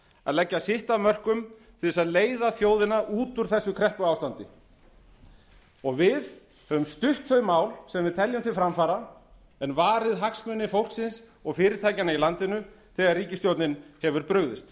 að leggja sitt af mörkum til þess að leiða þjóðina út úr þessu kreppuástandi við höfum stutt þau mál sem við teljum til framfara en varið hagsmuni fólksins og fyrirtækjanna í landinu þegar ríkisstjórnin hefur brugðist